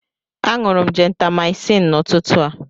Aṅụrụ m jentamaịcịn n'ụtụtụ a.